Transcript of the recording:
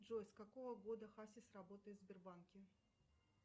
джой с какого года хасис работает в сбербанке